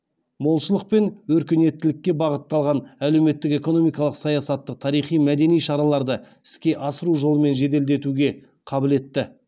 молшылық пен өркениеттілікке бағытталған әлеуметтік экономикалық саясатты тарихи мәдени шараларды іске асыру жолымен жеделдетуге қабылетті